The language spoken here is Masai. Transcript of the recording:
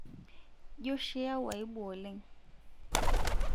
jio oshi yau aibu oleng'